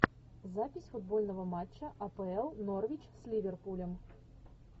запись футбольного матча апл норвич с ливерпулем